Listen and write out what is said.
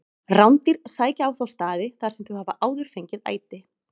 Rándýr sækja á þá staði þar sem þau hafa áður fengið æti.